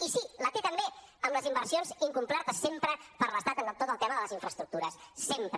i sí la té també amb les inversions incomplertes sempre per l’estat en tot el tema de les infraestructures sempre